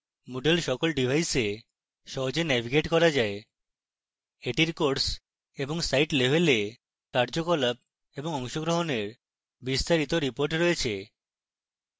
moodle সকল ডিভাইসে সহজে navigate করা যায়: